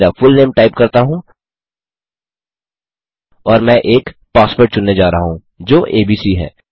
फिर मेरा full name type करता हूँ और मैं एक पासवर्ड चुनने जा रहा हूँ जो एबीसी है